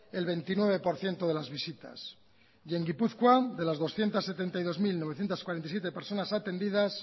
el veintinueve por ciento de las visitas y el gipuzkoa de las doscientos setenta y dos mil novecientos cuarenta y siete personas atendidas